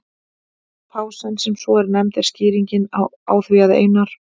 Pásan, sem svo er nefnd, er skýringin á því að Einar